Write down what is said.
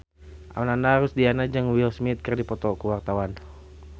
Ananda Rusdiana jeung Will Smith keur dipoto ku wartawan